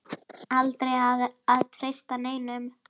Aldrei að treysta neinum.